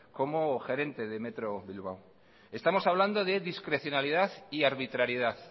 como gerente de metro bilbao estamos hablando de discrecionalidad y arbitrariedad